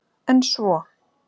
En svo?